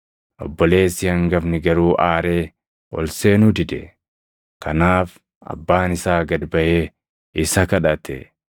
“Obboleessi hangafni garuu aaree ol seenuu dide; kanaaf abbaan isaa gad baʼee isa kadhate.